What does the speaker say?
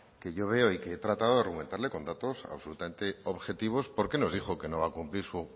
que yo veo y que he tratado argumentarle con datos absolutamente objetivos por qué nos dijo que no va a cumplir su